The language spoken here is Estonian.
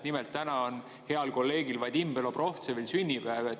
Nimelt on täna heal kolleegil Vadim Belobrovtsevil sünnipäev.